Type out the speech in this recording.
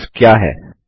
index क्या है